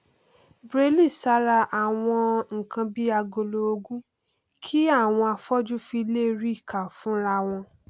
braille sára àwọn nkan bíi agolo òògùn kí àwọn afọjú fi lè ríi kà fúnra wọn